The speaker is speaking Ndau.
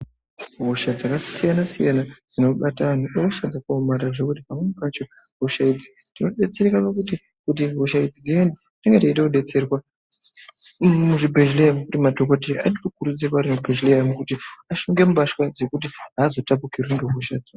Hosha dzakasiyana siyana dzinobata vana ihosha dzakasiyana siyana ngekuti pamweni pacho hosha idzi tenge teida kudetserwa madhokodheya anenge achida kudetserwa nekuhloya kuti ashunge mbatya dzekuti azotapukirwi nehoshadzo.